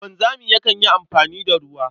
Wanzami yakan yi amfani da ruwa.